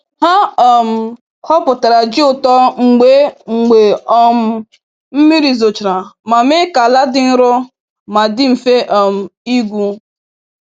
Ha um ghọpụtara ji ụtọ mgbe mgbe um mmiri zochara ma mee ka ala dị nro ma dị mfe um ịgwu.